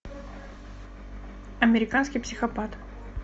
американский психопат